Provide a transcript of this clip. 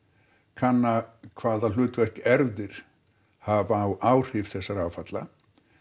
kanna hvaða hlutverk erfðir hafa á áhrif þessara áfalla